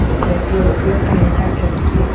मतलब की ओकर सहायता करथे ।